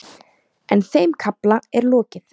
En þeim kafla er lokið.